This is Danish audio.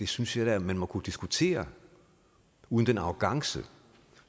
synes jeg da man må kunne diskutere uden den arrogance